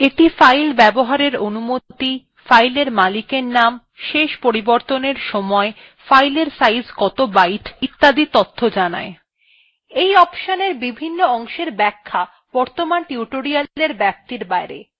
এই অপশনএর বিভন্ন অংশের ব্যাখ্যা বর্তমান tutorial ব্যাপ্তির বাইরে